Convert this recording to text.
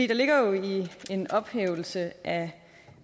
der ligger jo i en ophævelse af